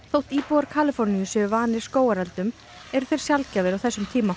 þótt íbúar Kaliforníu séu vanir skógareldum eru þeir sjaldgæfir á þessum tíma